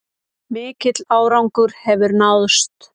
Mikill árangur hefur náðst